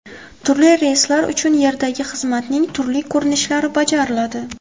Turli reyslar uchun yerdagi xizmatning turli ko‘rinishlari bajariladi.